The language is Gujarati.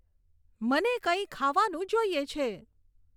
મને કંઈ ખાવાનું જોઈએ છે